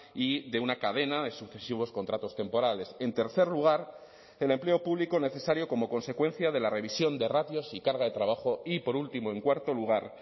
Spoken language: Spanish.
y de una cadena de sucesivos contratos temporales en tercer lugar el empleo público necesario como consecuencia de la revisión de ratios y carga de trabajo y por último en cuarto lugar